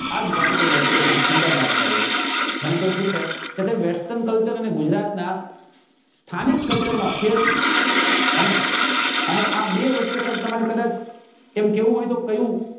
આજ જ ભાતીગળ વસ્ત્રો ખુબ સુંદર લગતા હોય છે મને કોઈ પૂછે કે સાહેબ western culture અને ગુજરાત ના સ્થાનિક culture માં ફેર શું હે ને અને આ બે વચ્ચે સાહેબ તમારે કદાચ એમ કેવું હોય તો કયું